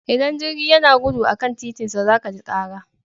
Idan jirgi yana gudu a kan titinsa za ka ji kara.